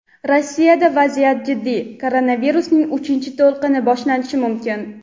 Rossiyada vaziyat jiddiy: koronavirusning uchinchi to‘lqini boshlanishi mumkin.